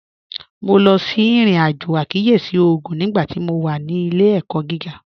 Mo lọ sí irin-ajo àkíyèsí ogún nígbàtí mó wà ní ilẹ̀-ẹ̀kọ̀ gígà